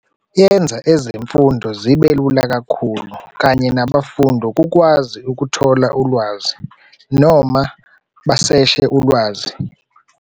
Yenza ezemfundo zibelula kakhulu kanye nabafundi ukwazi ukuthola ulwazi noma baseshe ulwazi.